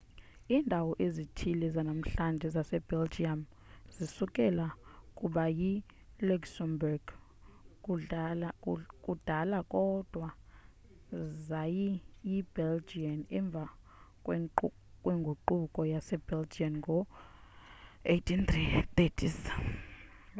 iindawo ezithile zanamhlanje zasebelgium zisukela kuba yiluxembourg kudala kodwa zayi yibelgian emva kwengququko yase belgian ngo 1830s